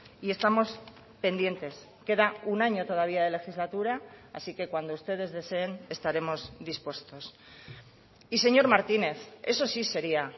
y estamos pendientes queda un año todavía de legislatura así que cuando ustedes deseen estaremos dispuestos y señor martínez eso sí sería